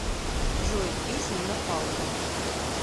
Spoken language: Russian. джой песню на паузу